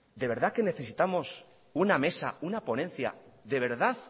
de verdad necesitamos una mesa una ponencia